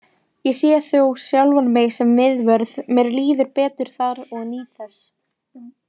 Ég sé þó sjálfan mig sem miðvörð, mér líður betur þar og nýt þess.